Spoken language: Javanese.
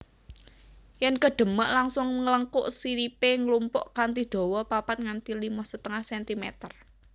Yèn kedemèk langsung nglengkuk siripé nglumpuk kanthi dawa papat nganti limo setengah centimeter